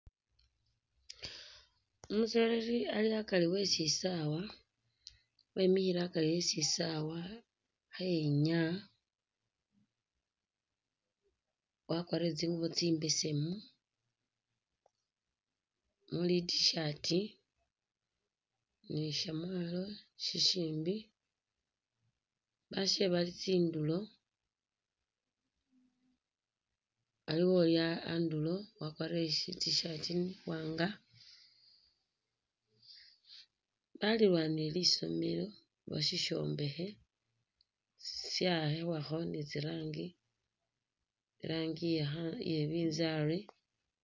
Umusoleli ali akari we sisaawa, bemikhile akari we sisaala khayenyaya, wakwarire tsinguubo tsimbesemu khayenyaya ne shamwalo shishimbi bashe bali tsindulo, balilanile, aliwo uli andulo wakwarire shi tshirt iwanga, balilwanile lisomeelo oba shishombekhe shawakhibwakho ne iranji iye nabinzari.